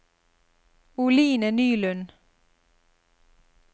Oline Nylund